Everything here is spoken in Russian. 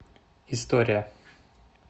история